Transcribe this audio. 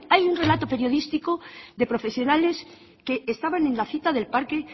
hay un relato periodístico de profesionales que estaban en la cita del parque